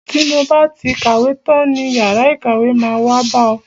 Ti mo ba ti kàwé tán ní yàrá ìkàwé, máa wá bá ọ.